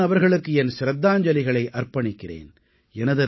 நான் அவர்களுக்கு என் சிரத்தாஞ்சலிகளை அர்ப்பணிக்கிறேன்